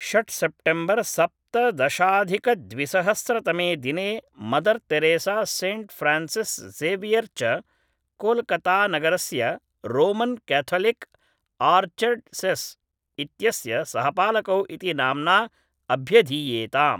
षड् सेप्टेम्बर् सप्तदशाधिकद्विसहस्रतमे दिने Mother Teresa Saint Francis Xavier च कोल्कतानगरस्य रोमन् क्याथलिक् आर्च्डयसेस् इत्यस्य सहपालकौ इति नाम्ना अभ्यधीयेताम्